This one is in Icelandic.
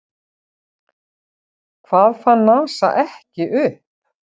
Hvað fann NASA ekki upp?